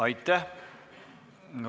Aitäh!